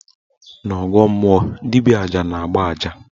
N' ọgọọ mmụọ, dibịa aja na-agba aja